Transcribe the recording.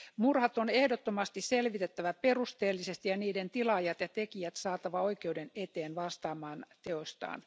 Murhat on ehdottomasti selvitettävä perusteellisesti ja niiden tilaajat ja tekijät saatava oikeuden eteen vastaamaan teoistaan.